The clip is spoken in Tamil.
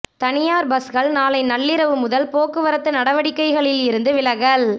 தனியார் பஸ்கள் நாளை நள்ளிரவு முதல் போக்குவரத்து நடவடிக்கைகளில் இருந்து விலகல்